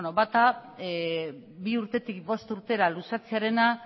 bata bi urtetik bost urtera luzatzearena